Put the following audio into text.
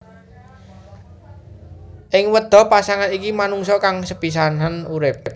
Ing Wedha pasangan iki manungsa kang sepisanan urip